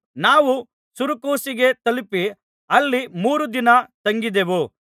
ನಾವು ಸುರಕೂಸಿಗೆ ತಲುಪಿ ಅಲ್ಲಿ ಮೂರು ದಿನ ತಂಗಿದೆವು